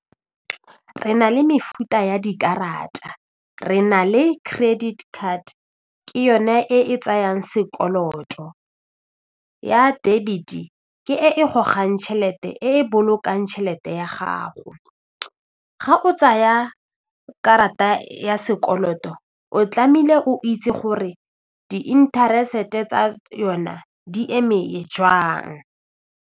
Re na le mefuta ya dikarata re na le credit card ke yone e e tsayang sekoloto, ya debit ke e gogang tšhelete e e bolokang tšhelete ya gago, ga o tsaya karata ya sekoloto o tlame'ile o itse gore di interest-e tsa yona di eme jwang.